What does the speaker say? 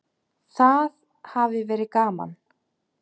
Það hafi verið gaman.